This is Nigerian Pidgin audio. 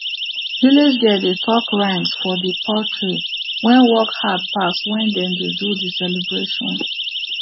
village girl dey talk rhymes for the poultry wey work hard pass when dem dey do the celebration